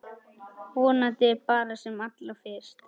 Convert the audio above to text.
Vonandi bara sem allra fyrst.